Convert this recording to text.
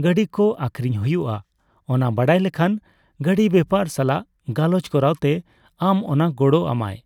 ᱜᱟᱺᱰᱤ ᱠᱚ ᱟᱹᱠᱷᱨᱤᱧ ᱦᱳᱭᱳᱜᱼᱟ ᱚᱱᱟ ᱵᱟᱰᱟᱭ ᱞᱮᱠᱷᱟᱱ ᱜᱟᱺᱰᱤ ᱵᱮᱯᱟᱨ ᱥᱟᱞᱟᱜ ᱜᱟᱞᱚᱪ ᱠᱚᱨᱟᱣᱛᱮ ᱟᱢ ᱚᱱᱟ ᱜᱚᱲ ᱟᱢᱟᱭ ᱾